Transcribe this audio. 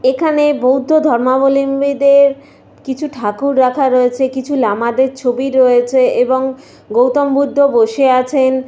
এখানে বৌদ্ধধর্মাবলম্বীদের কিছু ঠাকুর রাখা রয়েছে। কিছু লামাদের ছবি দেওয়া আছে । এবং গৌতম বুদ্ধ বসে আছেন।